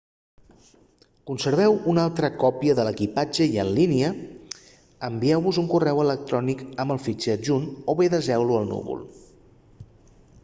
conserveu una altra còpia a l'equipatge i en línia envieu-vos un correu electrònic amb el fitxer adjunt o bé deseu-lo al núvol